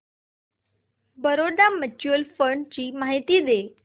Baroda mutual fund ची माहिती दे